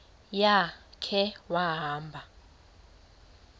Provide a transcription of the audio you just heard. ya khe wahamba